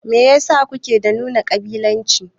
Meyasa kuke da nuna ƙabilanci ne